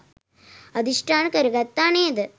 අධිෂ්ඨාන කරගත්තා නේද?